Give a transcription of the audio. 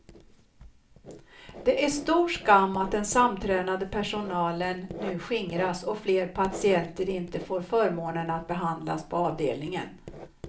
Det är stor skam att den samtränade personlen nu skingras och fler patienter inte får förmånen att behandlas på avdelningen.